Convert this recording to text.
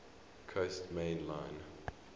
coast main line